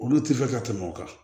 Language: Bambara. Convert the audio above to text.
Olu tɛ fɛ ka tɛmɛ o kan